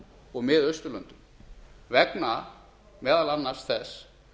og mið austurlöndum vegna meðal annars þess